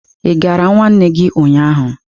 Ị gara nwanne gị ụnyahụ.